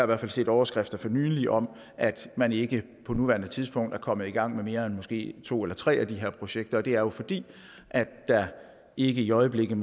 hvert fald set overskrifter for nylig om at man ikke på nuværende tidspunkt er kommet i gang med mere end måske to eller tre af de her projekter og det er jo fordi der ikke i øjeblikket